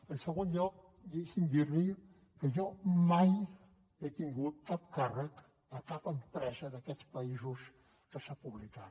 en segon lloc deixi’m dir li que jo mai he tingut cap càrrec a cap empresa d’aquests països que s’han publicat